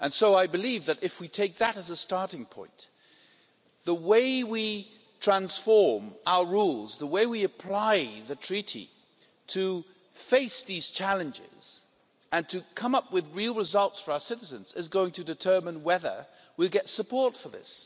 I believe that if we take that as a starting point, the way we transform our rules, the way we apply the Treaty to face these challenges and to come up with real results for our citizens, is going to determine whether we'll get support for this.